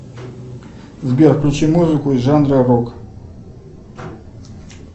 сбер включи музыку из жанра рок